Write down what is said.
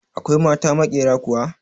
Akwai mata maƙyera kuwa?